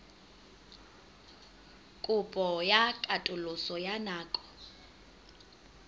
kopo ya katoloso ya nako